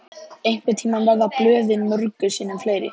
Einhvern tíma verða blöðin mörgum sinnum fleiri.